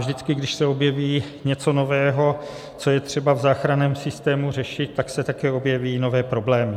Vždycky, když se objeví něco nového, co je třeba v záchranném systému řešit, tak se také objeví nové problémy.